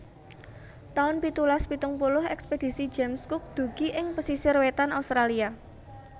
taun pitulas pitung puluh Ekspedisi James Cook dugi ing pesisir wétan Australia